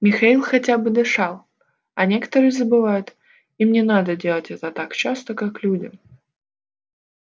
михаил хотя бы дышал а некоторые забывают им не надо делать это так часто как людям